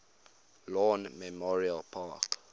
lawn memorial park